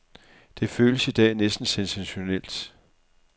Det føles i dag næsten sensationelt.